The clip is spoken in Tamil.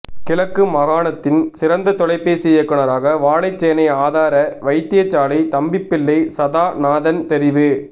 கிழக்கு மாகாணத்தின் சிறந்த தொலைபேசி இயக்குனராக வாழைச்சேனை ஆதார வைத்தியசாலை தம்பிப்பிள்ளை சதாநாதன் தெரிவு